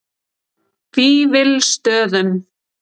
Vífilsstöðum